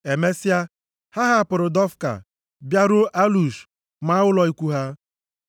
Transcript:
Emesịa, ha hapụrụ Dofka bịaruo Alush maa ụlọ ikwu ha.